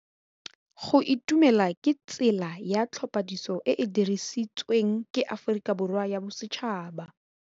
Go itumela ke tsela ya tlhapolisô e e dirisitsweng ke Aforika Borwa ya Bosetšhaba.